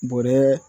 Bɔrɛ